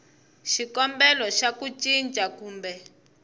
xikombelo xa ku cinca kumbe